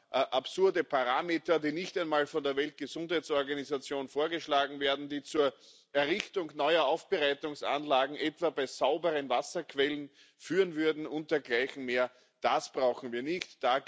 Aber absurde Parameter, die nicht einmal von der Weltgesundheitsorganisation vorgeschlagen werden, die zur Errichtung neuer Aufbereitungsanlagen etwa bei sauberen Wasserquellen führen würden und dergleichen mehr das brauchen wir nicht.